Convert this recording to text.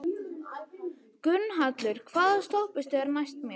Gunnhallur, hvaða stoppistöð er næst mér?